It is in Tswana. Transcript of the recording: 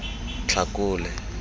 tlhakole